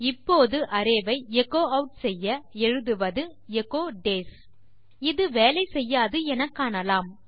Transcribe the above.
இப்போது அரே ஐ echo add செய்ய எழுதுவது எச்சோ டேஸ் இது வேலை செய்யாது எனக்காணலாம்